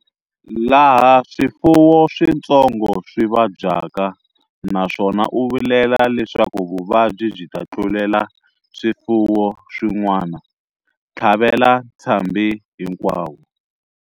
Laha swifuwo switsongo swi vabyaka naswona u vilela leswaku vuvabyi byi ta tlulela swifuwo swin'wana, tlhavela ntshambhi hinkwawo.